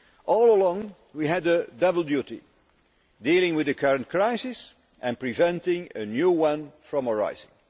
All along we had a double duty dealing with the current crisis and preventing a new one from arising